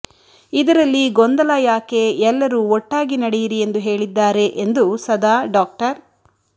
ಇದರಲ್ಲಿ ಗೊಂದಲ ಯಾಕೆ ಎಲ್ಲರೂ ಒಟ್ಟಾಗಿ ನಡೆಯಿರಿ ಎಂದು ಹೇಳಿದ್ದಾರೆ ಎಂದು ಸದಾ ಡಾ